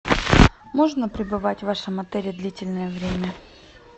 можно пребывать в вашем отеле длительное время